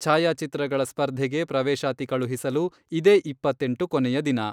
ಛಾಯಾಚಿತ್ರಗಳ ಸ್ಪರ್ಧೆಗೆ ಪ್ರವೇಶಾತಿ ಕಳುಹಿಸಲು ಇದೇ ಇಪ್ಪತ್ತೆಂಟು ಕೊನೆಯ ದಿನ.